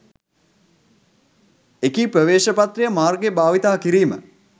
එකී ප්‍රවේශපත්‍රය මාර්ගය භාවිතා කිරීම